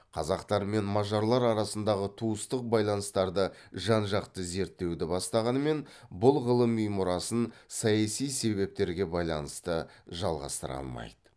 қазақтар мен мажарлар арасындағы туыстық байланыстарды жан жақты зерттеуді бастағанымен бұл ғылыми мұрасын саяси себептерге байланысты жалғастыра алмайды